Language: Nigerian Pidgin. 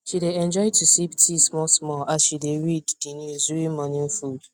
she dey enjoy to sip tea small small as she dey read the news during morning food